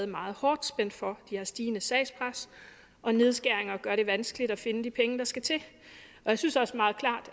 meget hårdt spændt for de har et stigende sagspres og nedskæringer gør det vanskeligt at finde de penge der skal til jeg synes også